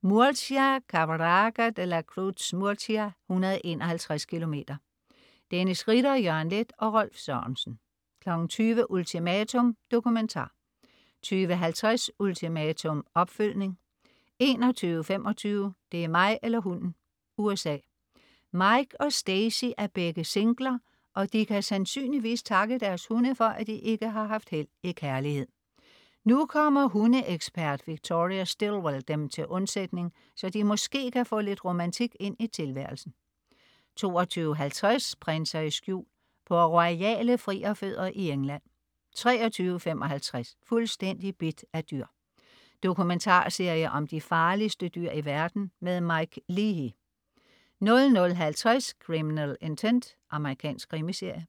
Murcia. Caravaca de la Cruz-Murcia, 151 km. Dennis Ritter, Jørgen Leth og Rolf Sørensen 20.00 Ultimatum. Dokumentar 20.50 Ultimatum, opfølgning 21.25 Det er mig eller hunden! USA. Mike og Stacy er begge singler, og de kan sandsynligvis takke deres hunde for, at de ikke har haft held i kærlighed. Nu kommer hundeekspert Victoria Stilwell dem til undsætning, så de måske kan få lidt romantik ind i tilværelsen 22.50 Prinser i skjul. På royale frierfødder i England 23.55 Fuldstændig bidt af dyr. Dokumentarserie om de farligste dyr i verden. Mike Leahy 00.50 Criminal Intent. Amerikansk krimiserie